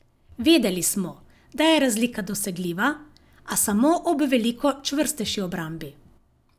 Vedeli smo, da je razlika dosegljiva, a samo ob veliko čvrstejši obrambi.